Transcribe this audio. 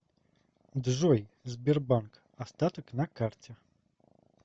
джой сбербанк остаток на карте